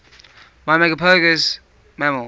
myrmecophagous mammals